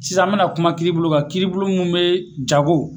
Sisan an bɛna kuma kiiribulon kan kiiribulon min bɛ jago